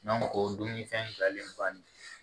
o dumuni fɛn jalen bannen tɛ